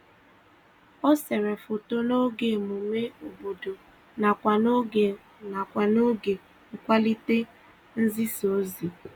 O sere foto n'oge emume obodo nakwa n'oge nakwa n'oge nkwalite nzisaozi